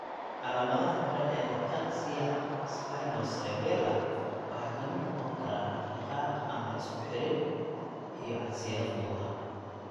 Calaamadaha hore ee ataxia spinocerebellar waxaa ka mid noqon kara dhaqdhaqaaq aan la isku xirin (ataxia) iyo casiraad lugaha.